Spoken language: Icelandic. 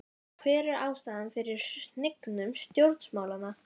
Hver er ástæðan fyrir hnignun stjórnmálanna?